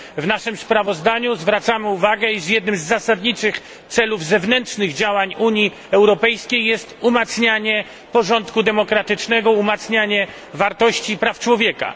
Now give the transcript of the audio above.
W naszym sprawozdaniu zwracamy uwagę, iż jednym z zasadniczych celów zewnętrznych działań Unii Europejskiej jest umacnianie porządku demokratycznego, umacnianie praw człowieka.